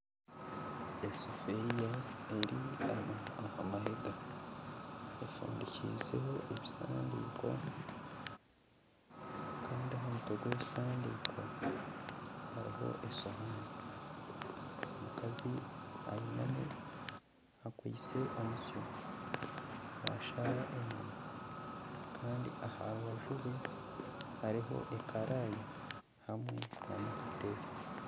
Esefuriya eri aha mahega efundikizeho ebisandiiko, kandi aha mutwe gw'ebisandiiko hariho esohaani. Omukazi ainami akwaitse omusyo naashara enyama. Kandi aha rubaju rwe hariho ekaraaya hamwe n'akatebe.